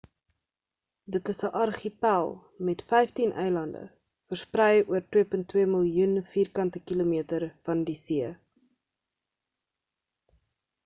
dit is 'n argipel met 15 eilande versprei oor 2.2 miljoen km2 van die see